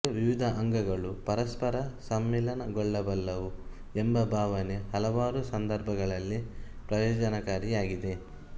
ಸಂಸ್ಕೃತಿಯ ವಿವಿಧ ಅಂಗಗಳು ಪರಸ್ಪರ ಸಮ್ಮಿಲನಗೊಳ್ಳಬಲ್ಲವು ಎಂಬ ಭಾವನೆ ಹಲವಾರು ಸಂದರ್ಭಗಳಲ್ಲಿ ಪ್ರಯೋಜನಕಾರಿಯಾಗಿದೆ